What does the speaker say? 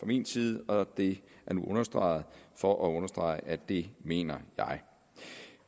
min side og det er nu understreget for at understrege at det mener jeg